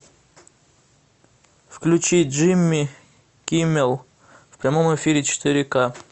включи джимми киммел в прямом эфире четыре ка